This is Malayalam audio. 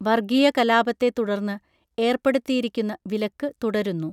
വർഗീയ കലാപത്തെ തുടർന്ന് ഏർപ്പെടുത്തിയിരിക്കുന്ന വിലക്ക് തുടരുന്നു